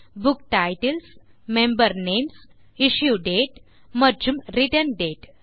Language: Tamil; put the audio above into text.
book titles member names issue date மற்றும் ரிட்டர்ன் டேட்